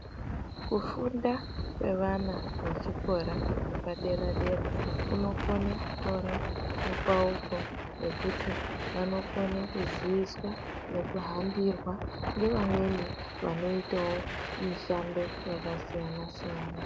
Kufunda kwevana vechikora vepadera dera kunokone kutora mupauko wekuti vanokuziyiswa nekuhambirwa nevamweni vanoitawo mishando yakasiyana siyana.